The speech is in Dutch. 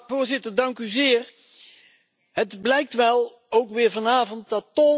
Het blijkt ook weer vanavond dat tol een gevoelig onderwerp is.